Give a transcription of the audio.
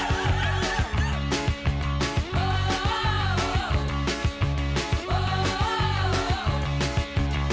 við